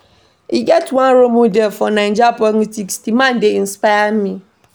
E get one role model for Naija politics, di man dey inspire me.